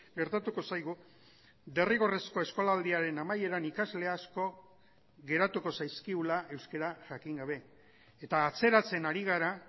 gertatuko zaigu derrigorrezko eskolaldiaren amaieran ikasle asko geratuko zaizkigula euskara jakin gabe eta atzeratzen ari gara